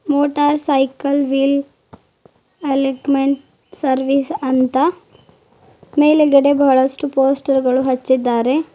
Motor cycle wheel alignment service ಅಂತ ಮೇಲ್ಗಡೆ ಬಹಳಷ್ಟು ಪೋಸ್ಟರ್ ಗಳು ಹಚ್ಚಿದ್ದಾರೆ.